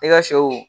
E ka sɛw